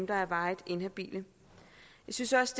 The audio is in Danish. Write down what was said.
der er varigt inhabile jeg synes også